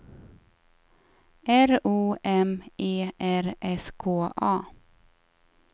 R O M E R S K A